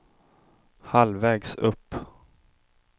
halvvägs upp